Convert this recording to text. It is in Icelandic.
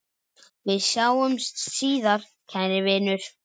Við sjáumst síðar, kæri vinur.